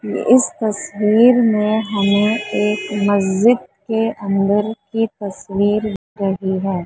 इस तस्वीर में हमे एक मस्जिद के अन्दर की तस्वीर दिख रही है।